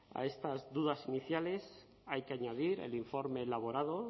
a estas dudas iniciales hay que añadir el informe elaborado